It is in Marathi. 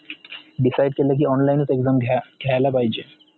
decide केल की online exam घ्या घायला पाहिजे